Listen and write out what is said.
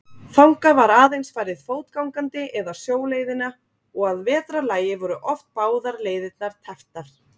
Þangað var aðeins farið fótgangandi eða sjóleiðina og að vetrarlagi voru oft báðar leiðirnar tepptar.